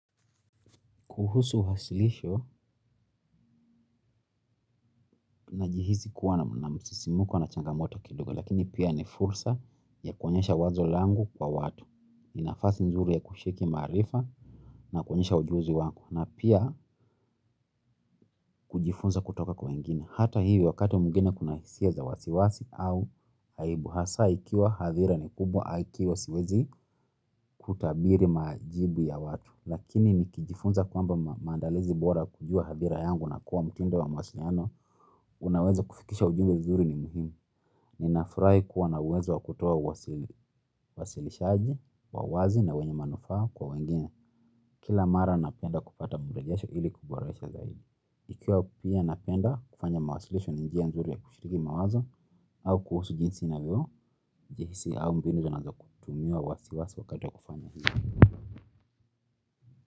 Kuhusu wasilisho, najihisi kuwa na msisimuko na changamoto kidogo, lakini pia ni fursa ya kuonyesha wazo langu kwa watu. Ni nafasi nzuri ya kucheki maarifa na kuonyesha ujuzi wangu, na pia kujifunza kutoka kwa wengine hata hivyo wakati mwingine kuna hisia za wasiwasi au aibu. Hasa ikiwa hadhira ni kubwa, aki huwa siwezi kutabiri majibu ya watu. Lakini nikijifunza kwamba maandalizi bora kujua hadhira yangu na kuwa mtindo wa mawasiliano. Ninaweza kufikisha ujumbe mzuri nyingine. Ninafurahi kuwa na uwezo wa kutoa uwasilishaji wa wazi na wenye manufaa kwa wengine kila mara napenda kupata mbundajasho ili kuboresha zaidi ikiwa mimi napenda kufanya mawasilisho ni njia nzuri ya kushiriki mawazo au kuhusu jinsi ninavyojihisi au mbinu ninayoweza kutulia wasiwasi.